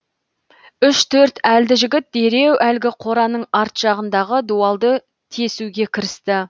үш төрт әлді жігіт дереу әлгі қораның арт жағындағы дуалды тесуге кірісті